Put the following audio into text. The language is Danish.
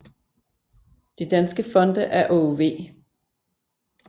De danske fonde er Aage V